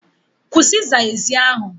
Kwụsị ịza ezi a!